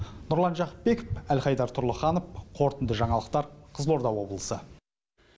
нұрлан жақыпбеков әлхайдар тұрлыханов қорытынды жаңалықтар қызылорда облысы